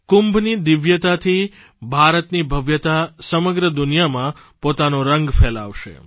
કુંભની દિવ્યતાથી ભારતની ભવ્યતા સમગ્ર દુનિયામાં પોતાનો રંગ ફેલાવશે